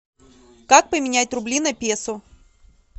как поменять рубли на песо